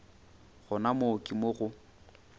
gona moo ke mo go